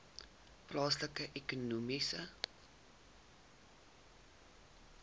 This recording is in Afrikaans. plaaslike ekonomiese